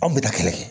Anw bɛ na kɛnɛ